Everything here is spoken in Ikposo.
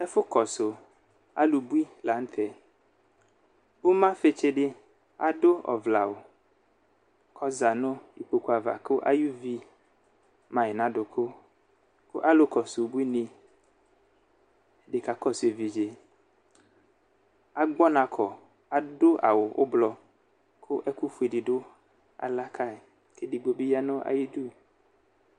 ɛfʋ kɔsʋ alʋbʋi lantɛ ʋma fi tsi di adʋ ɔvlɛ awʋ ɔza nʋ ikpokʋ aɣa kʋ ayi vi mai na dʋkʋ ɔlʋ kɔsʋ ʋbʋi ni di ka kɔsʋ ɛvidzɛ agbɔnakɔ adʋ awʋ ʋblɔ kʋ ɛkʋ fʋɛ di ala kai edigbo bi yanʋ ayidʋ